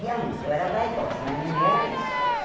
Realmente, eu era vaidosa, mas não era isso.